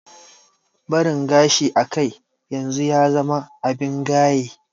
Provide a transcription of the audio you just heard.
Barin gashi a kai yanzu ya zama abin gaye